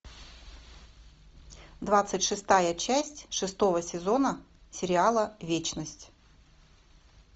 двадцать шестая часть шестого сезона сериала вечность